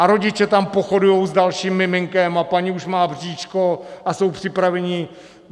A rodiče tam pochodujou s dalším miminkem a paní už má bříško a jsou připraveni.